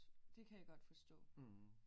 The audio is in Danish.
Det kan jeg godt forstå